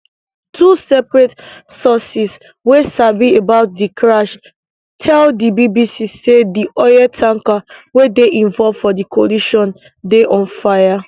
two separate sources wey sabi about di crash tell di bbc say di oil tanker wey dey involve for di collision dey on fire